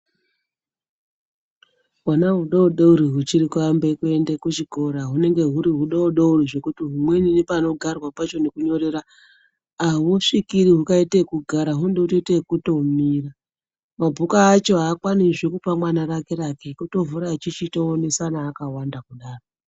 Hwana hwudodori hwuchiri kuambe kuende kuchikora hunenge huri hwudodori zvekuti humweni nepanogarwa pacho nekunyorera ahusvikiri hukaite ekugara hunode kutoite ekumira mabhuku acho aakwani zve kupa mwana rake rake kutovhura echichi toonesana akawanda kudaro.